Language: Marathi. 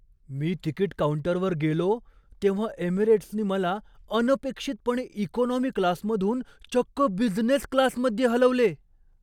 मी तिकीट काऊंटरवर गेलो तेव्हा एमिरेट्सने मला अनपेक्षितपणे इकॉनॉमी क्लासमधून चक्क बिझनेस क्लासमध्ये हलवले!